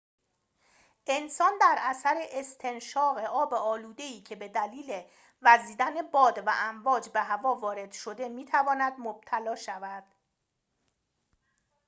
انسان در اثر استنشاق آب آلوده‌ای که به دلیل وزیدن باد و امواج به هوا وارد شده می‌تواند مبتلا شود